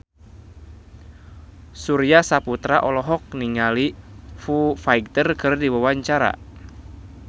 Surya Saputra olohok ningali Foo Fighter keur diwawancara